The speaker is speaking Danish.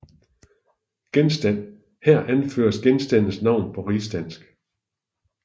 Genstand Her anføres genstandens navn på rigsdansk